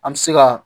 An bɛ se ka